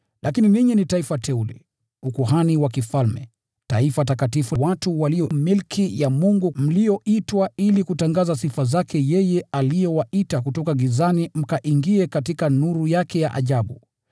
Lakini ninyi ni taifa teule, ukuhani wa kifalme, taifa takatifu, watu walio milki ya Mungu, mlioitwa ili kutangaza sifa zake yeye aliyewaita kutoka gizani mkaingie katika nuru yake ya ajabu.